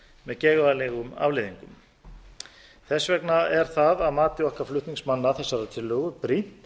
með geigvænlegum afleiðingum þess vegna er það að mati okkar flutningsmanna þessarar tillögu brýnt